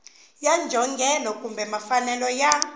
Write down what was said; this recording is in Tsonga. ya njhongelo kumbe mfanelo ya